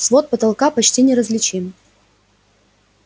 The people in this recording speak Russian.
свод потолка почти неразличим